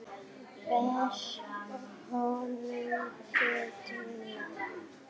Ber honum fötuna.